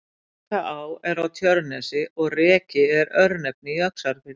Rekaá er á Tjörnesi og Reki er örnefni í Öxarfirði.